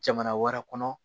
Jamana wɛrɛ kɔnɔ